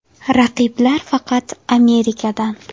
Raqiblar faqat Amerikadan.